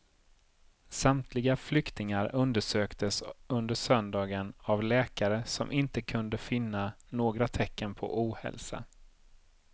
Samtliga flyktingar undersöktes under söndagen av läkare som inte kunde finna några tecken på ohälsa.